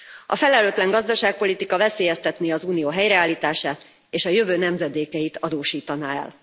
A felelőtlen gazdaságpolitika veszélyeztetné az Unió helyreállítását és a jövő nemzedékeit adósítaná el.